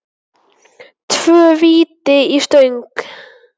Tvö víti í stöng?